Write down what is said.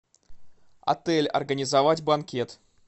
отель организовать банкет